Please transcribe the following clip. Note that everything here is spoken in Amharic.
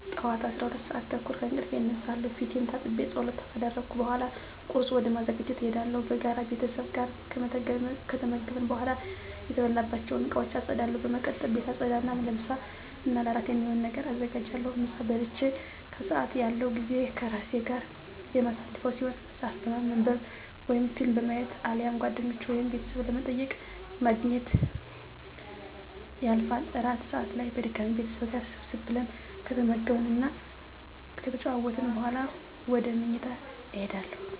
ጠዋት 12:30 ከእንቅልፌ እነሳለሁ። ፊቴን ታጥቤ ፀሎት ካደረስኩ በኃላ ቁርስ ወደ ማዘጋጀት እሄዳለሁ። በጋራ ቤተሰብ ጋር ከተመገብን በኃላ የተበላባቸውን እቃወች አፀዳለሁ። በመቀጠል ቤት አፀዳ እና ለምሳ እና እራት የሚሆን ነገር አዘጋጃለሁ። ምሳ በልቼ ከሰአት ያለው ጊዜ ከራሴ ጋር የማሳልፈው ሲሆን መፀሀፍ በማንብ ወይም ፊልም በማየት አሊያም ጓደኞቼን ወይም ቤተሰብ በመጠየቅ በማግኘት ያልፋል። እራት ሰአት ላይ በድጋሚ ቤተሰብ ጋር ሰብሰብ ብለን ከተመገብን እና ከተጨዋወትን በኃላ ወደ ምኝታ እሄዳለሁ።